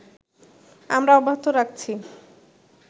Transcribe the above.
আমরা অব্যাহত রাখছি